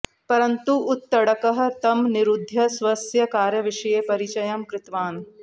परन्तु उत्तङ्कः तं निरुध्य स्वस्य कार्यविषये परिचयं कृतवान्